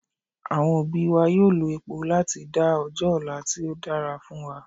Àwọn òbí wa yóò lo epo láti dá ọjọ́ ọ̀la tí ó dára fún wa